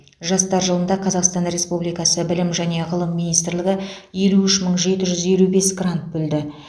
жастар жылында қазақстан республикасы білім және ғылым министрлігі елу үш мың жеті жүз елу бес грант бөлді